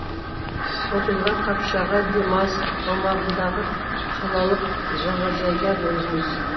оқиға қапшағай демалыс аумағындағы қалалық жағажайда болған